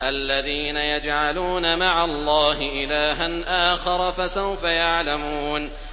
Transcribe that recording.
الَّذِينَ يَجْعَلُونَ مَعَ اللَّهِ إِلَٰهًا آخَرَ ۚ فَسَوْفَ يَعْلَمُونَ